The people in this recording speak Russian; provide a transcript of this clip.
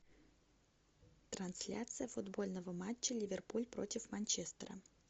трансляция футбольного матча ливерпуль против манчестера